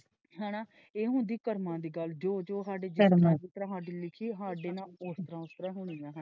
ਹੇਨਾ ਇਹ ਹੁੰਦੀ ਕਰਮਾ ਦੀ ਗੱਲ ਜੋ ਜੋ ਸਾਡੇ ਕਰਮਾ ਵਿੱਚ ਜਿਸ ਤਰਾਂ ਸਾਡੇ ਲਿਖੀ ਸਾਡੇ ਨਾਲ ਉਸ ਤਰਾਂ ਉਸ ਤਰਾਂ ਹੋਣੀ ਹੈ।